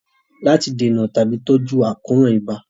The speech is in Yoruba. Láti dènà tàbí tọ́jú àkóràn ibà